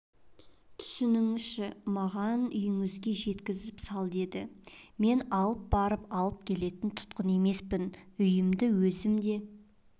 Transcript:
түсінсеңізші маған үйіңізге жеткізіп сал деді мен алып барып алып келетін тұтқын емеспін үйімді өзім де